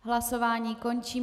Hlasování končím.